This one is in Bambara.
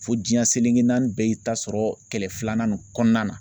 Fo diɲɛ selenke naani bɛɛ y'i ta sɔrɔ kɛlɛ filanan nin kɔnɔna na